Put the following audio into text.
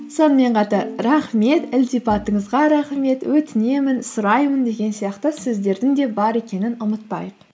сонымен қатар рахмет ілтипатыңызға рахмет өтінемін сұраймын деген сияқты сөздердің де бар екенін ұмытпайық